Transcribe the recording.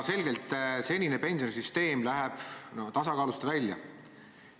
Senine pensionisüsteem läheb tasakaalust välja.